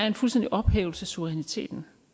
en fuldstændig ophævelse af suveræniteten